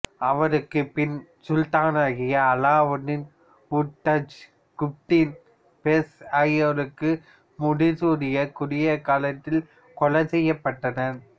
அவருக்குப் பின் சுல்தானாகிய அலாவுதீன் உதாஜி குதுப்துதீன் ஃபிரோஸ் ஆகியோரும் முடிசூடிய குறுகிய காலத்தில் கொலை செய்யப்பட்டனர்